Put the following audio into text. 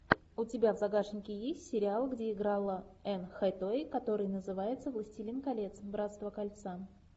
у тебя в загашнике есть сериал где играла энн хэтэуэй который называется властелин колец братство кольца